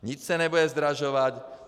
Nic se nebude zdražovat.